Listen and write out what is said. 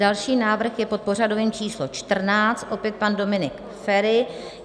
Další návrh je pod pořadovým číslem 14, opět pan Dominik Feri.